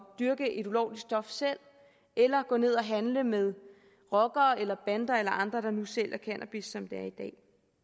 dyrke et ulovligt stof selv eller gå ned og handle med rockere eller bander eller andre der nu sælger cannabis sådan som det er i dag